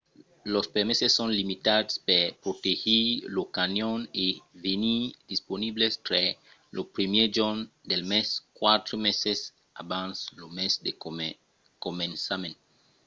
los permeses son limitats per protegir lo canyon e venon disponibles tre lo 1èr jorn del mes quatre meses abans lo mes de començament